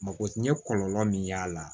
Mako n ye kɔlɔlɔ min y'a la